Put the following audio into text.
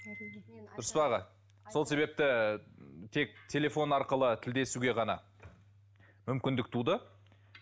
дұрыс па аға сол себепті тек телефон арқылы тілдесуге ғана мүмкіндік туды